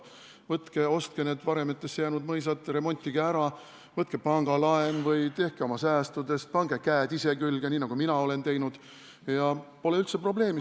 Võtke ja ostke need varemetesse jäänud mõisad, remontige ära, võtke pangalaen või tehke oma säästude abil, pange käed ise külge, nii nagu mina olen teinud, ja pole üldse probleemi.